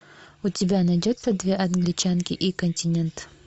у тебя найдется две англичанки и континент